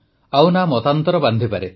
ଆଉ ନା ମତାନ୍ତର ବାନ୍ଧିପାରେ